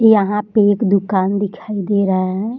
यहाँ पे एक दुकान दिखाई दे रहा है |